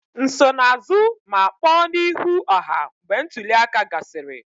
Nsonaazụ ma kpọọ n'ihu ọha mgbe ntuli aka gasịrị